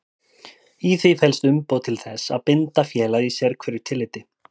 Í því felst umboð til þess að binda félagið í sérhverju tilliti.